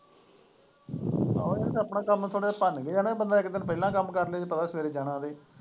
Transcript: ਆਹੋ ਇੱਥੇ ਆਪਣਾ ਕੰਮ ਸਗੋਂ ਭੰਨਦੇ ਹੈ ਬੰਦਾ ਇੱਕ ਦਿਨ ਪਹਿਲਾ ਕੰਮ ਕਰਲੇ ਬਈ ਪਤਾ ਵੀ ਸਵੇਰੇ ਜਾਣਾ ਬਈ।